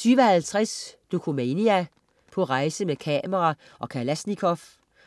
20.50 Dokumania: På rejse med kamera og kalasnikov.